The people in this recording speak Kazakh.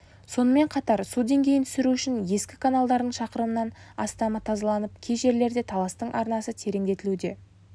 сонымен қатар су деңгейін түсіру үшін ескі каналдардың шақырымнан астамы тазаланып кей жерлерде таластың арнасы тереңдетілуде